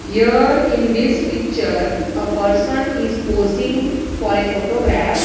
here in this picture a person is posing for a photograph.